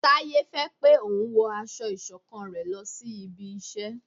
Taye fẹ pé òun wọ aṣọ iṣọ̀kan rẹ lòsí ibí iṣẹ